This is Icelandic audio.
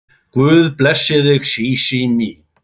Guð blessi þig Sísí mín.